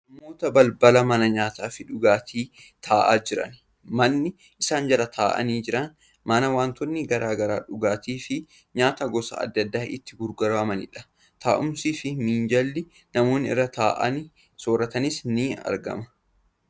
Namoota balbala mana nyaataa fi dhugaatii taa'aa jiran. Manni isaan jala taa'aanii jiran mana wantoonni akka dhugaatii fi nyaata gosa adda addaa itti gurguramanidha. Taa'umsii fi minjaalli namoonni irra taa'aanii sooratanis ni argama.